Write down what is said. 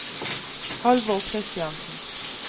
Halvor Kristiansen